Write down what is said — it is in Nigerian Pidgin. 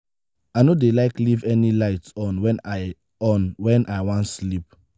i no dey like leave any light on wen i on wen i wan sleep.